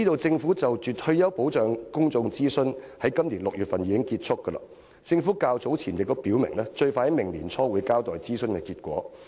政府就退休保障進行的公眾諮詢已於今年6月結束，政府較早前已表明，最快會於明年年初交代諮詢結果。